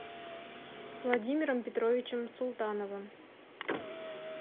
владимиром петровичем султановым